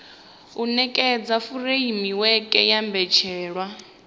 u nekedza furemiweke ya mbetshelwa